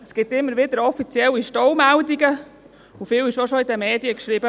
Es gibt immer wieder offizielle Staumeldungen, und in den Medien wurde schon viel geschrieben.